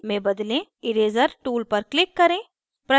eraser tool पर click करें